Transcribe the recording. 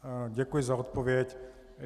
Děkuji za odpověď.